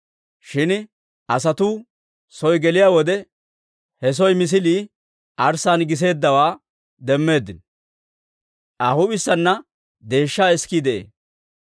Shin asatuu soo geliyaa wode, he soo misilii arssaan giseeddawaa demmeeddino; Aa huup'issaana deeshshaa isikii de'ee.